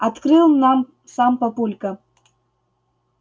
открыл нам сам папулька